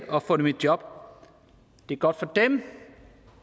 og få dem i job det er godt for dem